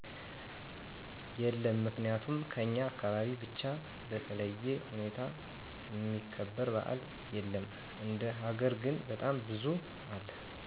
የለም ምክንያቱም ከኛ አካባቢ ብቻ በተለዬ ሁኔታ እሚከበር በዓል የለም እንደ ሀገር ግን በጣም ብዙ አለ